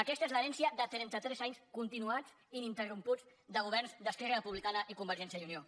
aquesta és l’herència de trenta tres anys continuats ininterromputs de governs d’erc i convergència i unió